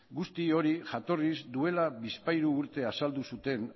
guzti hori jatorriz duela bizpahiru urte azaldu zuten